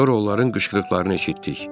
Sonra onların qışqırıqlarını eşitdik.